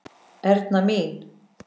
Erna mín.